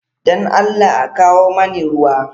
Don Allah a kawo mani ruwa.